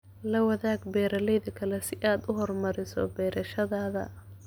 La wadaag beeralayda kale si aad u horumariso beerashadaada.